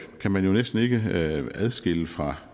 kan man jo næsten ikke adskille fra